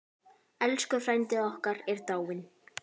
Elsku frændi okkar er dáinn.